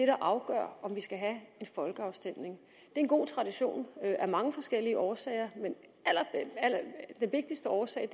afgør om vi skal have en folkeafstemning det en god tradition af mange forskellige årsager men den vigtigste årsag